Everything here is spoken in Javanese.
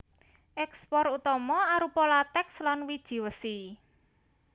Ékspor utama arupa latèks lan wiji wesi